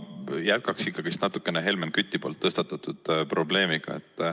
Ma jätkan ikkagi Helmen Küti tõstatatud probleemiga.